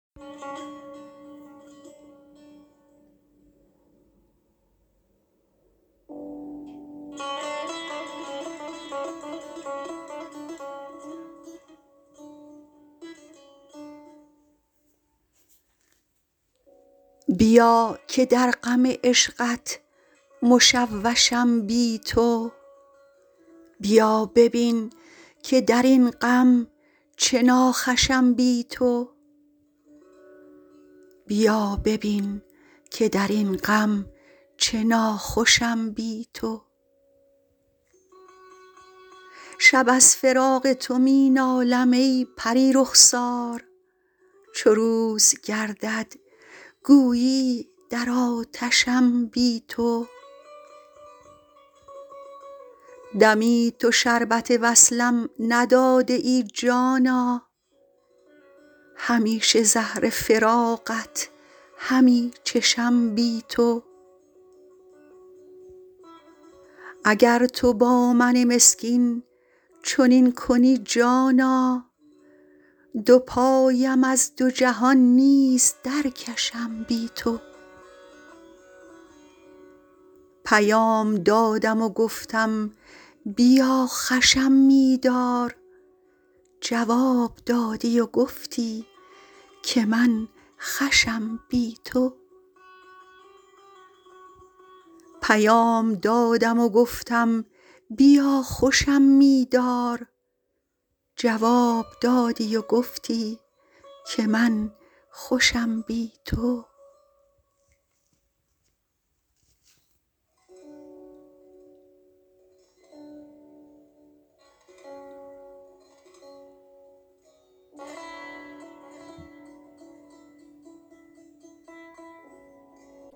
بیا که در غم عشقت مشوشم بی تو بیا ببین که در این غم چه ناخوشم بی تو شب از فراق تو می نالم ای پری رخسار چو روز گردد گویی در آتشم بی تو دمی تو شربت وصلم نداده ای جانا همیشه زهر فراقت همی چشم بی تو اگر تو با من مسکین چنین کنی جانا دو پایم از دو جهان نیز درکشم بی تو پیام دادم و گفتم بیا خوشم می دار جواب دادی و گفتی که من خوشم بی تو